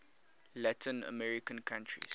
latin american countries